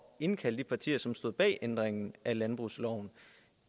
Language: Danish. at indkalde de partier som stod bag ændringen af landbrugsloven